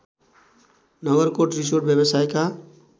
Nagarkot resort व्यवसायका